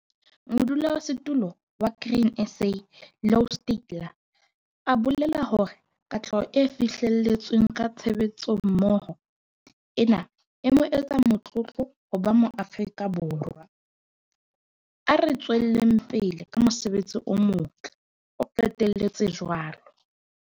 Modulasetulo wa Grain SA, Louw Steytler, a bolela hore katleho e fihlelletsweng ka tshebetsommoho ena e mo etsa motlotlo ho ba Moafrika Borwa. "A re tsweleng pele ka mosebetsi o motle," o qetelletse jwalo.